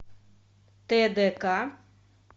тдк